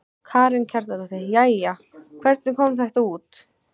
Karen Kjartansdóttir: Jæja, hvernig kom þetta út?